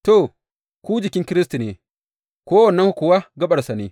To, ku jikin Kiristi ne, kowannenku kuwa gaɓarsa ne.